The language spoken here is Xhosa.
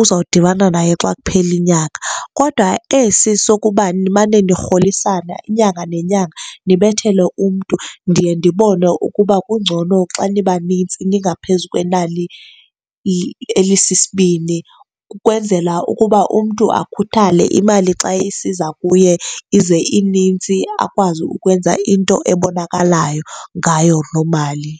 uzawudibana nayo xa kuphela unyaka. Kodwa esi sokuba nimane nirholisana inyanga nenyanga, nibethele umntu, ndiye ndibone ukuba kungcono xa nibanintsi ningaphezu kwenani elisisibini ukwenzela ukuba umntu akhuthale. Imali xa isiza kuye ize inintsi akwazi ukwenza into ebonakalayo ngayo loo mali.